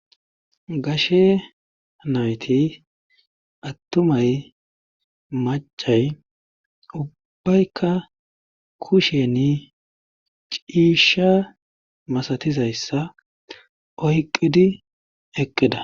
Gashe nayti attumay maccay ubbayka kusheni ciisha masatizayssa oyqqidi eqqida.